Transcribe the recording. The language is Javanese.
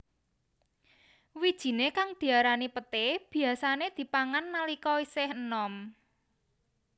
Wijiné kang diarani peté biyasané dipangan nalika isih anom